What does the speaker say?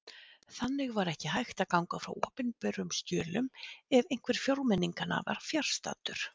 Þannig var ekki hægt að ganga frá opinberum skjölum ef einhver fjórmenninganna var fjarstaddur!